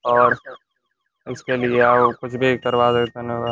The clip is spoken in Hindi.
और इस के लिए और --